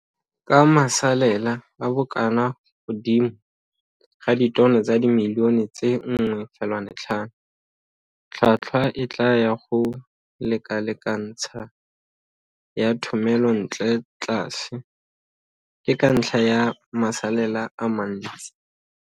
Ka masalela a bokana godimo ga ditono tsa dimilione tse 1,5, tlhotlhwa e tlaa ya go lekalekantsha ya thomelontle tlas, ke ka ntlha ya masalela a mantis.